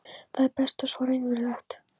Það er best og svo raunverulegt.